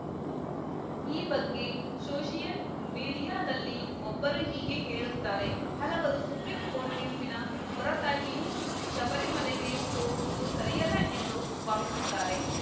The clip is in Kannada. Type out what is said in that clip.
ಈ ಬಗ್ಗೆ ಸೋಷಿಯಲ್‌ ಮೀಡಿಯಾದಲ್ಲಿ ಒಬ್ಬರು ಹೀಗೆ ಹೇಳುತ್ತಾರೆ ಹಲವರು ಸುಪ್ರಿಂಕೋರ್ಟ್‌ ತೀರ್ಪಿನ ಹೊರತಾಗಿಯೂ ಶಬರಿಮಲೆಗೆ ಹೋಗುವುದು ಸರಿಯಲ್ಲ ಎಂದು ಭಾವಿಸುತ್ತಾರೆ